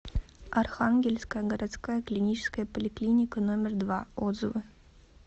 архангельская городская клиническая поликлиника номер два отзывы